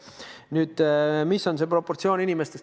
Kui suur võiks olla see protsent?